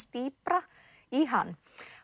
dýpra í hann